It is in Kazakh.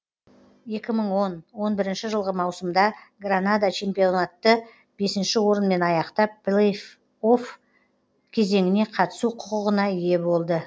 екі мың он он бірінші жылғы маусымда гранада чемпионатты бесінші орынмен аяқтап плей офф кезеңіне қатысу құқығына ие болды